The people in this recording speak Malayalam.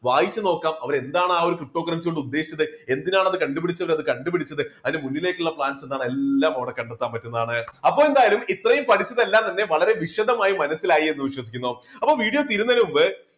വായിച്ചു നോക്കാം അവർ എന്താണ് ആ ഒരു ptocurrency കൊണ്ട് ഉദ്ദേശിച്ചത്. എന്തിനാണ് അത് കണ്ടുപിടിച്ചത് അത് കണ്ടുപിടിച്ചത് അതിൻറെ മുന്നിലേക്ക് ഉള്ള plans എന്താണ് എല്ലാം അവിടെ കണ്ടെത്താൻ പറ്റുന്നതാണ്. അപ്പൊ എന്തായാലും ഇത്രയും പഠിച്ചതെല്ലാം തന്നെ വളരെ വിശദമായി മനസ്സിലായെന്ന് വിശ്വസിക്കുന്നു. അപ്പൊ video തീരുന്നതിനു മുമ്പ്